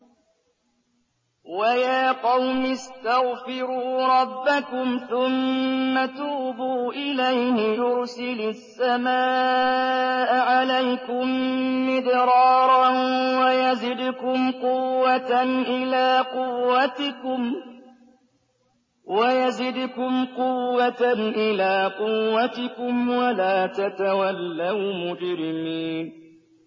وَيَا قَوْمِ اسْتَغْفِرُوا رَبَّكُمْ ثُمَّ تُوبُوا إِلَيْهِ يُرْسِلِ السَّمَاءَ عَلَيْكُم مِّدْرَارًا وَيَزِدْكُمْ قُوَّةً إِلَىٰ قُوَّتِكُمْ وَلَا تَتَوَلَّوْا مُجْرِمِينَ